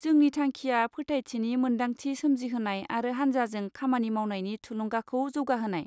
जोंनि थांखिया फोथायथिनि मोनदांथि सोमजिहोनाय आरो हान्जाजों खामानि मावनायनि थुलुंगाखौ जौगाहोनाय।